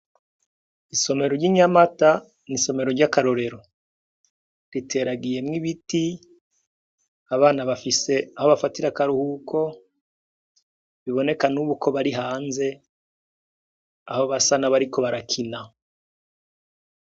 Isomero ry'inyamata ni isomero ry'akarorero riteragiyemwo ibiti abana bafise aho bafatira akaruhuko biboneka n' ubu ko bari hanze aho basa n' abariko barakina.